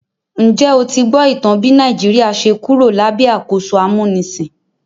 Njẹ́ o ti gbọ́ ìtàn bí Nàìjíríà ṣe Kúrò lábẹ́ àkóso amúnisìn?